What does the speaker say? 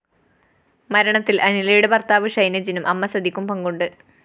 മരണത്തില്‍ അനിലയുടെ ഭര്‍ത്താവ് ഷൈനജിനും അമ്മസതിക്കും പങ്കുണ്ട്